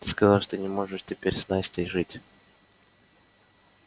ты сказал что не можешь теперь с настей жить